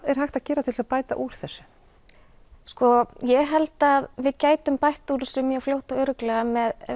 er hægt að gera til þess að bæta úr þessu ég held að við gætum bætt úr þessu mjög fljótt og örugglega